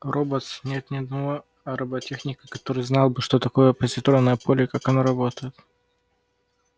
роботс нет ни одного роботехника который знал бы что такое позитронное поле и как оно работает